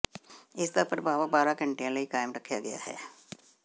ਇਸ ਦਾ ਪ੍ਰਭਾਵ ਬਾਰਾਂ ਘੰਟਿਆਂ ਲਈ ਕਾਇਮ ਰੱਖਿਆ ਗਿਆ ਹੈ